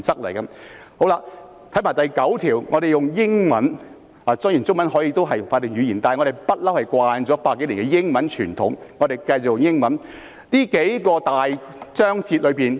還有第九條，我們看看英文，雖然中文也是法定語言，但我們習慣了百多年的英文傳統，所以請大家看看英文版本。